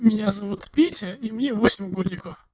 меня зовут петя и мне восемь годик